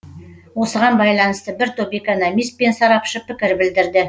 осыған байланысты бір топ экономист пен сарапшы пікір білдірді